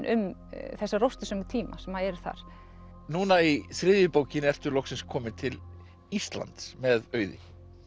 um þessa tíma sem eru þar núna í þriðju bókinni ertu loksins komin til Íslands með Auði